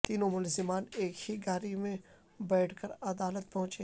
تینوں ملزمان ایک ہی گاڑی میں بیٹھ کر عدالت پہنچے